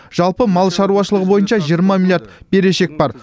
жалпы мал шаруашылығы бойынша жиырма миллиард берешек бар